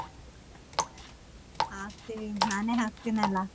ಹಾಕ್ತೀವಿ ನಾನೇ ಹಾಕ್ತಿನಿಲ್ಲ.